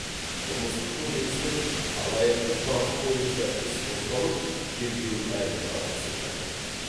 қылмыстық кодекстің алаяқтық бабы бойынша іс қозғалып тергеу әлі жалғасып жатыр